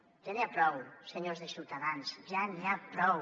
ja n’hi ha prou senyors de ciutadans ja n’hi ha prou